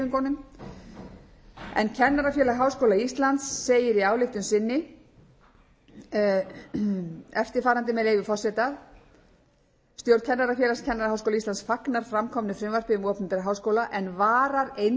frá stúdentahreyfingunum kennarafélag háskóla íslands segir í ályktun sinni eftirfarandi með leyfi forseta stjórn kennarafélags kennaraháskóla íslands fagnar framkomnu frumvarpi um opinbera háskóla en varar eindregið við